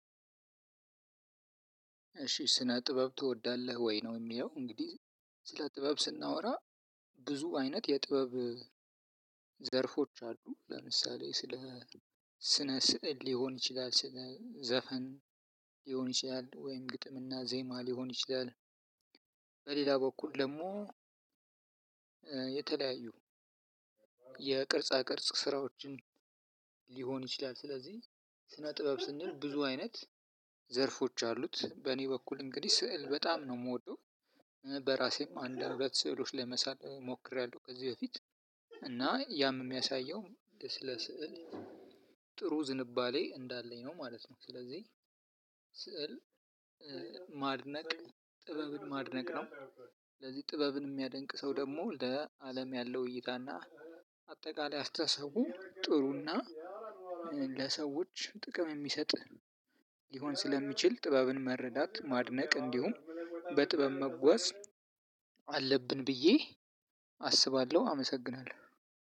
እሺ ስለ ጥበብ ትወዳለህ ወይ? ነው ሚለው እንግዲህ ስለ ጥበብ ስናወራ ብዙ አይነት የጥበብ ዘርፎች አሉ ለምሳሌ ስነ ስዕል ዘፈን ወይም ግጥ እና ዜማ ሊሆይ ይችላል። በሌላ በኩል ደግሞ የተለያዩ የቅርፃ ቅርጽ ስራዎችን ሊሆን ይችላል። ስለዚህ ስነ ጥበብ ስንል ብዙ አይነት ዘርፎች አሉት በእኔ በኩል እንግዲህ ስዕል በጣም ነው ምወደው። በራሴም አንድ ሁለት ስዕሎች ለመሳል ሞክሬያለሁ ከዚህ በፊት እና ያም ሚያሳየው ስለ ስዕል ጥሩ ዝንባሌ እንዳለኝ ነው ማለት ነው። ስለዚህ ስዕል ማድነቅ ጥበብን ማድነቅ ነው። ስለዚህ ጥበብን ሚያደንቅ ሰው ደግሞ ለአለም ያለው እይታና አጠቃላይ አስተሳሰቡ ጥሩና ለሰዎች ጥቅም ሚሰጥ ሊሆን ስለሚችል ጥበብን መረዳት ማድነቅ እንዲሁም በጥበብ መጓዝ አለብን ብዬ አስባለሁ አመሰግናለሁ።